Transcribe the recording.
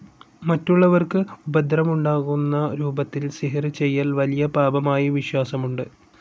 മറ്റുള്ളവർക്ക് ഉപദ്രവമുണ്ടാകുന്ന രൂപത്തിൽ സിഹ്ർ ചെയ്യൽ വലിയ പാപമായി വിശ്വാസമുണ്ട്.